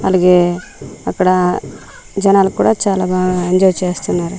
అలగే అక్కడ జనాలు కూడా చాలా బా ఎంజాయ్ చేస్తున్నారు.